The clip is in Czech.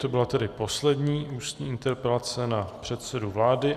To byla tedy poslední ústní interpelace na předsedu vlády.